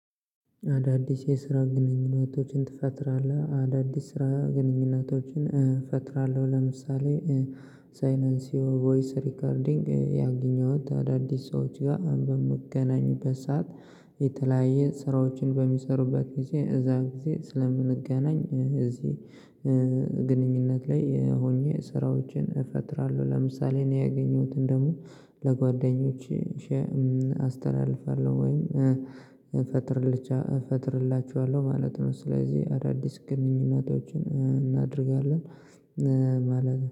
አዳዲስ የስራ ግንኙነቶችን ትፈጥራለህ አዳዲስ ስራ ግንኙነቶችን እፈጥራለሁ። ለምሳሌ ሳይኔንሲው ቮይስ ሪከርዲንግ ያገኘሁት አዳዲስ ሰዎች ጋር በምገናኝበት ሰዓት። የተለያየ ስራዎችን በሚሰሩበት ጊዜ እዛ ጊዜ ስለምንገናኝ እዚህ። ግንኙነት ላይ ሆኜ ስራዎችን እፈጥራለሁ። ለምሳሌ ነው ያገኘሁትን ደግሞ ለጓደኞቼ አስተላልፋለሁ። ወይም እፈጥርላችኋለሁ ማለት ነው። ስለዚህ አዳዲስ ግንኙነቶችን እናደርጋለን ማለት